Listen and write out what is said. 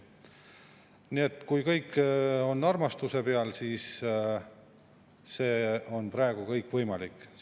Nii et kui kõik on armastuse peal, siis on juba praegu kõik võimalik.